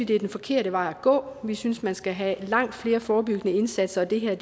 det er den forkerte vej at gå vi synes at man skal have langt flere forebyggende indsatser og det her er